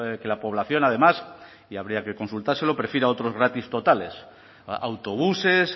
que la población además y habría que consultárselo prefiera otros gratis totales autobuses